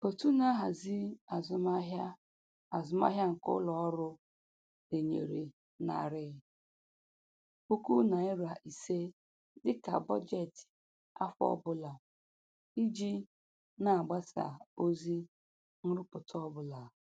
Otu na-ahazi azụmahịa azụmahịa nke ụlọ ọrụ denyere narị puku naịra ise dịka bọjetị afọ ọbụla iji na-agbasa ozi nrụpụta ọbụla